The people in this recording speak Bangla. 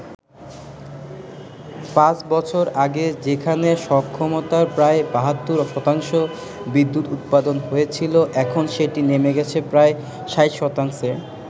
পাঁচ বছর আগে যেখানে সক্ষমতার প্রায় ৭২ শতাংশ বিদ্যুৎ উৎপাদন হয়েছিলো, এখন সেটি নেমে গেছে প্রায় ৬০ শতাংশে।